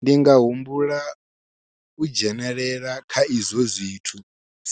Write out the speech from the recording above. Ndi nga humbula u dzhenelela kha izwo zwithu